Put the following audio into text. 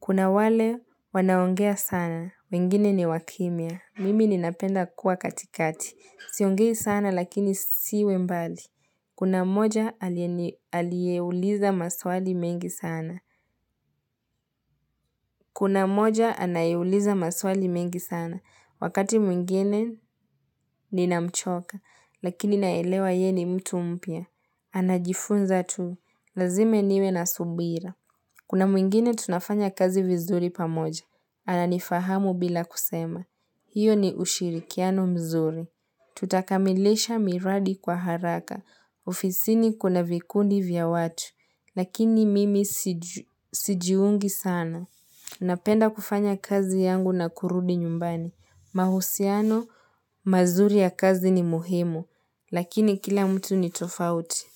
Kuna wale wanaongea sana, wengine ni wakimia. Mimi ninapenda kuwa katikati. Siongei sana lakini siwe mbali. Kuna mmoja aliye ni aliyeuliza maswali mengi sana. Kuna mmoja anayeuliza maswali mengi sana. Wakati mwingine ninamchoka. Lakini naelewa yeye ni mtu mpya. Anajifunza tu. Lazima niwe na subira. Kuna mwingine tunafanya kazi vizuri pamoja. Ananifahamu bila kusema. Hiyo ni ushirikiano mzuri. Tutakamilisha miradi kwa haraka. Ofisini kuna vikundi vya watu. Lakini mimi sijiungi sana. Napenda kufanya kazi yangu na kurudi nyumbani. Mahusiano, mazuri ya kazi ni muhimu. Lakini kila mtu ni tofauti.